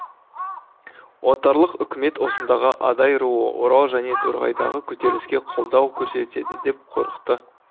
отарлық үкімет осындағы адай руы орал және торғайдағы көтеріліске қолдау көрсетеді деп қорықты